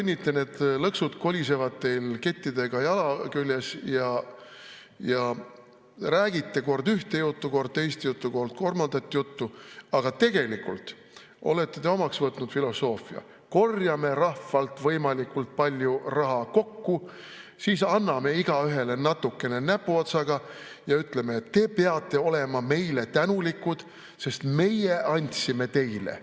... need lõksud kolisevad teil kettidega jala küljes, ja räägite kord ühte juttu, kord teist juttu, kord kolmandat juttu, aga tegelikult olete te omaks võtnud filosoofia "Korjame rahvalt võimalikult palju raha kokku, siis anname igaühele natukene näpuotsaga ja ütleme, et te peate olema meile tänulikud, sest meie andsime teile".